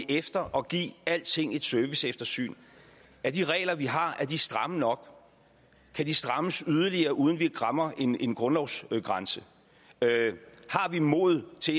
efter og give alting et serviceeftersyn er de regler vi har stramme nok kan de strammes yderligere uden at vi rammer en en grundlovsgrænse har vi mod til